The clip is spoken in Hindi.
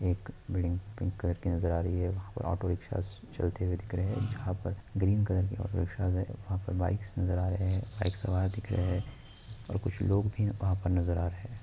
एक बिल्डिंग पिंक कलर की नज़र आ रही है। वहां पर ऑटो रिक्शा ज चलते हुए दिख रहे हैं| जहाँ पर ग्रीन कलर के ऑटो रिक्शा ज हैं वहाँ पे बाइक्स नज़र आ रहे हैं| बाइक सवार दिख रहे हैं और कुछ लोग भी वहाँ पर नज़र आ रहे हैं।